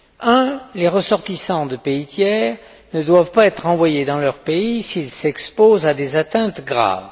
Un, les ressortissants de pays tiers ne doivent pas être renvoyés dans leur pays s'ils s'exposent à des atteintes graves.